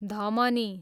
धमनी